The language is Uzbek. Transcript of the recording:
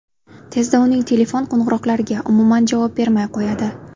Tezda uning telefon qo‘ng‘iroqlariga umuman javob bermay qo‘yadi.